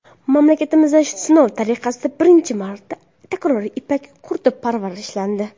Mamlakatimizda sinov tariqasida birinchi marta takroriy ipak qurti parvarishlandi.